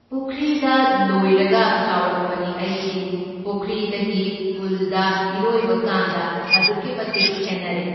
ꯄꯨꯈ꯭ꯔꯤꯗ ꯂꯣꯏꯔꯒ ꯆꯥꯎꯔꯛꯄꯅꯤ ꯑꯩꯁꯤ, ꯄꯨꯈ꯭ꯔꯤꯗꯒꯤ ꯄꯨꯜꯗ ꯏꯔꯣꯏꯕꯀꯥꯟꯗ ꯑꯗꯨꯛꯀꯤ ꯃꯇꯤꯛ ꯈꯦꯟꯅꯔꯦ꯫